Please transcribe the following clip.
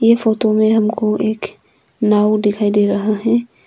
ये फोटो में हमको एक नाव दिखाई दे रहा है।